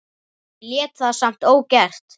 Ég lét það samt ógert.